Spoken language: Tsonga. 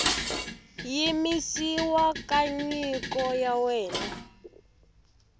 yimisiwa ka nyiko ya wena